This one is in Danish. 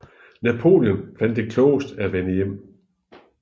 Napoleon fandt det klogest at vende hjem